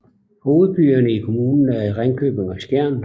Hovedbyerne i kommunen er Ringkøbing og Skjern